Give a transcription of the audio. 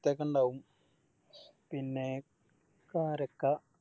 ത്തക്ക ഇണ്ടാവും പിന്നെ കാരക്ക